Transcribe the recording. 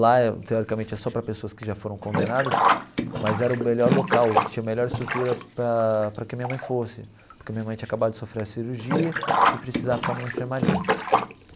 Lá, teoricamente, é só para pessoas que já foram condenadas, mas era o melhor local, que tinha a melhor estrutura para para que minha mãe fosse, porque minha mãe tinha acabado de sofrer a cirurgia e precisava ficar em uma enfermaria.